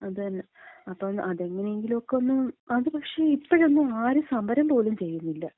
അതന്നെ, അപ്പം അതെങ്ങനെയെങ്കിലും ഒക്കെ ഒന്ന്. അത് പക്ഷേ, ഇപ്പഴൊന്നും ആരും സമരം പോലും ചെയ്യുന്നില്ല.